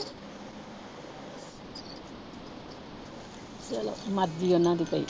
ਚਲੋ ਮਰਜ਼ੀ ਹੈ ਉਹਨਾਂ ਦੀ ਭਾਈ।